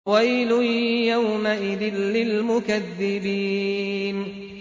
وَيْلٌ يَوْمَئِذٍ لِّلْمُكَذِّبِينَ